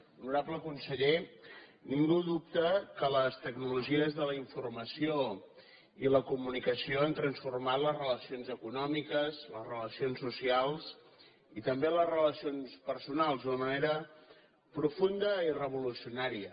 honorable conseller ningú dubta que les tecnologies de la informació i la comunicació han transformat les relacions econòmiques les relacions socials i també les relacions personals d’una manera profunda i revolucionària